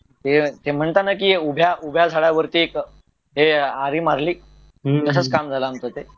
ते म्हणताना कि उभ्या झडावरती एक आरही मारली तसंच काम झालं आमचं